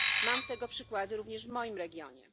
Mam tego przykłady również w moim regionie.